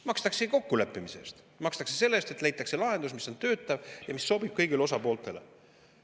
Makstaksegi kokku leppimise eest, makstakse selle eest, et leitaks lahendus, mis töötab ja mis sobib kõigile osapooltele.